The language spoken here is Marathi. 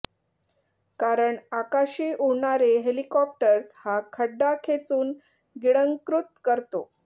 कारण आकाशी उडणारे हेलिकॉप्टर्स हा खड्डा खेचून गिळंकृत करतो